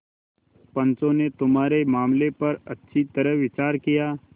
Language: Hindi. पंचों ने तुम्हारे मामले पर अच्छी तरह विचार किया